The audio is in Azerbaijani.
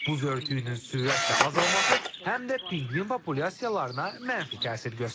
Buz örtüyünün sürətlə azalması həm də pinqvin populyasiyalarına mənfi təsir göstərir.